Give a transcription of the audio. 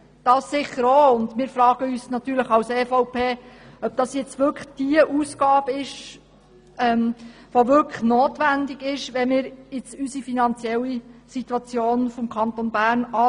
Diesen Aspekt hat er sicher auch, und wir fragen uns natürlich, ob diese Ausgabe nun wirklich notwendig ist, wenn wir die finanzielle Situation unseres Kantons betrachten.